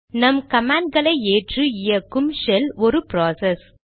நம் கமாண்ட்களை ஏற்று இயக்கும் ஷெல் ஒரு ப்ராசஸ்